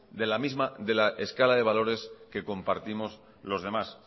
de la misma escala de valores que compartimos los demás